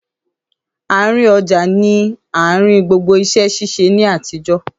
Àárín ọjà ní àárín gbogbo iṣẹ́ ṣíṣe ní àtijọ́.